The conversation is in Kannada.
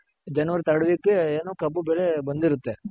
January Third week ಏನು ಕಬ್ಬು ಬೆಳೆ ಬಂದಿರುತ್ತೆ.